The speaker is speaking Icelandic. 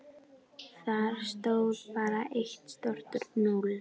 Þar stóð bara eitt stórt núll.